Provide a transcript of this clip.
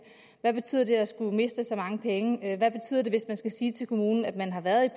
hvad betyder det at skulle miste så mange penge hvad betyder det hvis man skal sige til kommunen at man har været